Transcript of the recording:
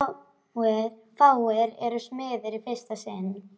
Fáir eru smiðir í fyrsta sinn.